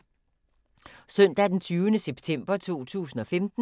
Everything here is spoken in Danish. Søndag d. 20. september 2015